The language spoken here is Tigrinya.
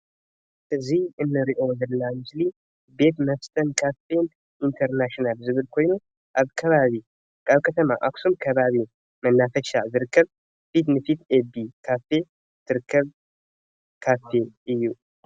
እዚ ንርኡ ዘለና ምስሊ ቤት መስተን ካፌን ኢንተርናሽናል ዝብል ኮይኑ ኣብ ከባቢ ከተማ ኣክሱም ከባቢ መናፈሻ ኣብ ዝርከብ ፊት ንፊት ኤቤ ካፌ ዝርከብ ካፌ እዩ።